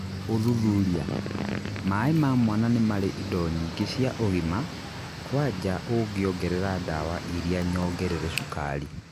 ũthuthuria: Mai ma mwana nĩ marĩ Indo nyingĩ cia ũgima, kwanja ũngĩongerera dawa iria nyongerere cukari